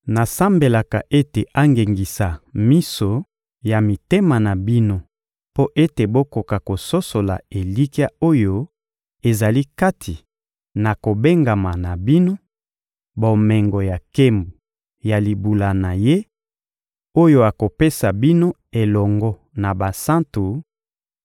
Nasambelaka ete angengisa miso ya mitema na bino mpo ete bokoka kososola elikya oyo ezali kati na kobengama na bino, bomengo ya nkembo ya libula na Ye, oyo akopesa bino elongo na basantu,